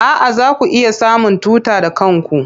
A'a, zaku iya samun tuta da kanku.